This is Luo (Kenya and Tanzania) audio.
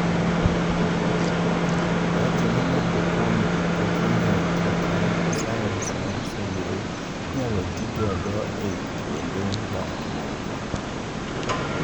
Owachoni moko kuom jii pok ong'eyo kaka sayans mar sulwe inyalo tii godo ei kwonde dak moko.